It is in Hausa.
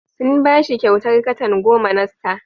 Sun ba shi kyautar katan goma na star.